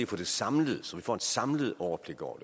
få det samlet så vi får et samlet overblik over